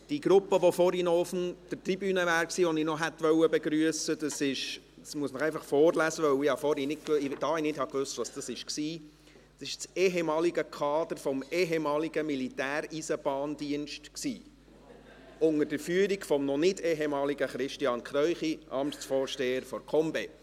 Die Gruppe, die vorhin auf der Tribüne war und die ich noch hätte begrüssen wollen, ist das ehemalige Kader des ehemaligen Militäreisenbahndiensts, unter der Führung des noch nicht ehemaligen Christian Kräuchi, Amtsvorsteher der KomBE.